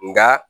Nka